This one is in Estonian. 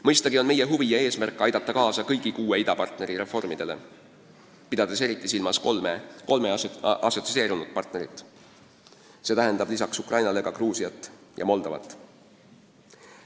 Mõistagi on meie huvi ja eesmärk aidata kaasa kõigi kuue idapartneri reformidele, pidades eriti silmas kolme assotsieerunud partnerit, see tähendab lisaks Ukrainale ka Gruusiat ja Moldovat.